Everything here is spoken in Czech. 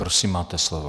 Prosím, máte slovo.